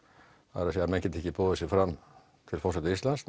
það er að segja menn geta ekki boðið sig fram til forseta Íslands